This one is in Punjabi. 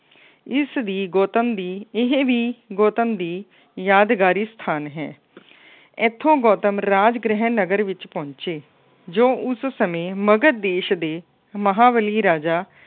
ਇਸਦੀ ਗੌਤਮ ਦੀ ਇਹ ਵੀ ਗੌਤਮ ਦੀ ਯਾਦਗਾਰੀ ਸਥਾਨ ਹੈ। ਇੱਥੋ ਗੌਤਮ ਰਾਜ ਗ੍ਰਹਿ ਨਗਰ ਵਿੱਚ ਪਹੁੰਚੇ। ਜੋ ਉਸ ਸਮੇਂ ਮਗਧ ਦੇਸ਼ ਦੇ ਮਹਾਂਬਲੀ ਰਾਜਾ